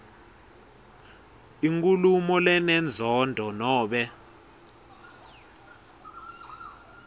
inkhulumo lenenzondo nobe